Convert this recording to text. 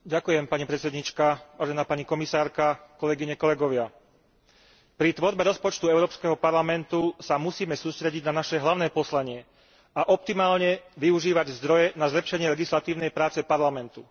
Ďakujem, pani predsedajúca, vážená pani komisárka, kolegyne, kolegovia, pri tvorbe rozpočtu Európskeho parlamentu sa musíme sústrediť na naše hlavné poslanie a optimálne využívať zdroje na zlepšenie legislatívnej práce Parlamentu.